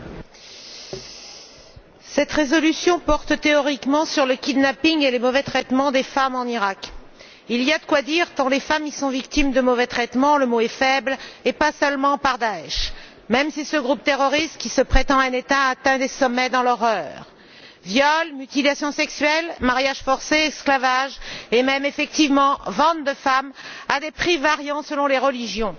Monsieur le Président, cette résolution porte théoriquement sur le kidnapping et les mauvais traitements des femmes en Iraq. Il y a de quoi dire tant les femmes y sont victimes de mauvais traitements le mot est faible et ce non seulement par Daïch, même si ce groupe terroriste qui se prétend un État atteint des sommets dans l'horreur viols, mutilations sexuelles, mariages forcés, esclavage et même, effectivement, vente de femmes à des prix variant selon les religions.